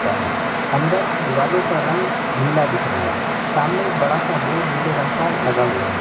का है। अंदर दीवालो का रंग नीला दिख रहा है। सामने एक बड़ा सा बोर्ड नीले रंग का लगा हुआ है।